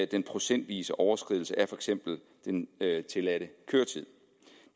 den procentvise overskridelse af for eksempel den tilladte køretid